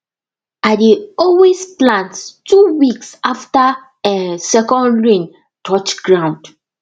i dey always plant two weeks after um second rain touch ground